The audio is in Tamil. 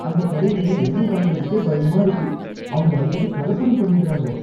அந்தக் கடைல எண்ணெய் வாங்குறதுக்கே பயமா இருக்கு, அவங்க அடிக்கடி கலப்படம் பண்ணிடறாங்க.